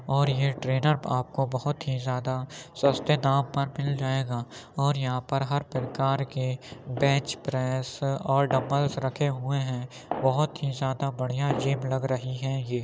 और यह ट्रेनर आपको बहुत ही ज्यादा सस्ते दाम पर मिल जाएगा और यहां पर हर प्रकार के बेंच प्रेस और डंबलस रखे हुए हैं बहुत ही ज्यादा बढ़िया जिम लग रही है ये।